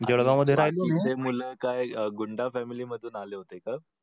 मूल काय गुंड family मधून आले होते काय?